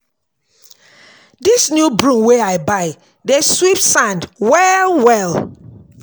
Dis new broom wey I buy dey sweep sand well-well.